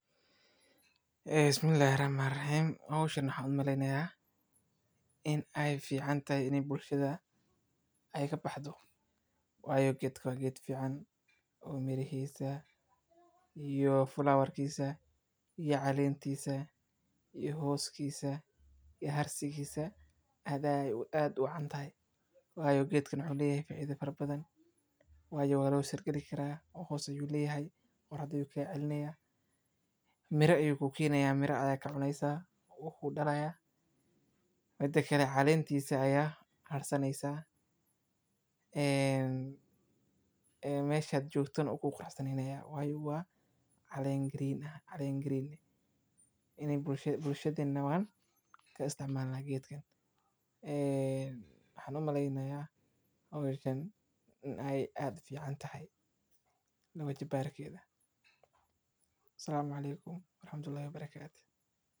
Bismillahi Rahmani Raheem Hawshan waxaa uu maleynaya in ay fiican tahay ini bulshada, ay ka baxdo. Way geedka geed fiican oo mirihiisa iyo flower kiisa iyo caleentisa iyo hooskiisa iyo harsigisa hada aad u cantahay. Waayo geedka muxuu leeyahay faiida fara badan waayo walo sirgeli karaa oo hoos u leeyahay qorax ayu ka celneya. Mira ayuu ku kiinayaa mira ya ka cunaysa uu ku dhalaya. mida kale caleentisa ayaa harsaneyso. Ee meshad joogton ugu qurxi nayaa, waayo waa caleen green aya caleen green ah. Ini bulshada bulshadaneynan ka istacmala geedken. Eee waxa nu maleynaya oo hawshan ay aad fiican tahay. La wajibaari keeda. Salaamu alaykum warhamtuhu Allahi wabarakaatuh.